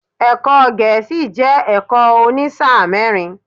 Ẹ̀kọ́ Gẹ̀ẹ́sì jẹ́ ẹ̀kọ́ òní sáà mẹ́rin.